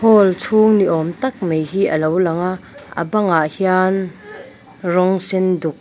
hall chhung ni awm tak mai hi alo lang a bang ah hian rawng sen duk--